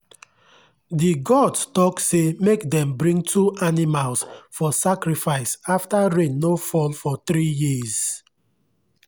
the gods talk say make dem bring two animals for sacrifice after rain no fall for three years.